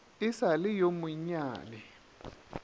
e sa le yo monnyane